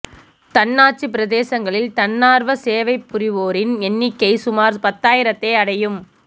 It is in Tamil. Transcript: தன்னாட்சிப் பிரதேசங்களில் தன்னார்வச் சேவை புரிவோரின் எண்ணிக்கை சுமார் பத்தாயிரத்தை அடையும்